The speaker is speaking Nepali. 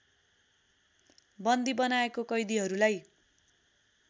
बन्दी बनाएको कैदिहरूलाई